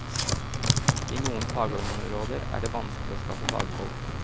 I noen fagområder var det vanskelig å skaffe fagfolk.